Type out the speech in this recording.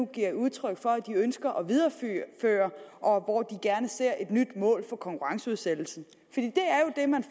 giver udtryk for at de ønsker at videreføre og hvor de gerne ser et nyt mål for konkurrenceudsættelsen